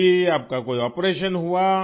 آپ کا کوئی آپریشن ہوا